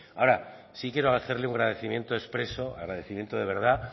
ahora sí quiero hacerle un agradecimiento expreso agradecimiento de verdad